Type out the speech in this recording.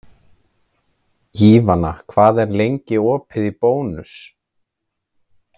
Ívana, hvað er lengi opið í Bónus?